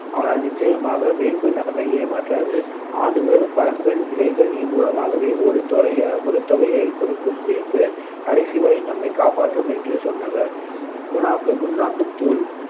ஆனால் நிச்சயமாக வேம்பு நம்மை ஏமாற்றாது ஆண்டுதோறும் பழங்கள், இலைகள் மூலமாகவே ஒரு தொகை ஒரு தொகைகையக் கொடுக்கும் வேம்பு கடைசிவரை நம்மைக் காப்பாற்றும் என்று சொன்னவர்